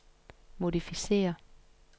modificér